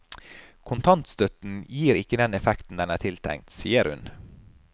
Kontantstøtten gir ikke den effekten den er tiltenkt, sier hun.